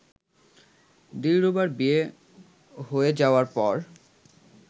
দিলরুবার বিয়ে হয়ে যাওয়ার পর